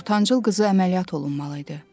Ortancıl qızı əməliyyat olunmalı idi.